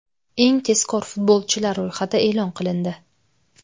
Eng tezkor futbolchilar ro‘yxati e’lon qilindi.